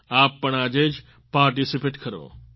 આપ પણ આજે જ પાર્ટિસિપેટ કરો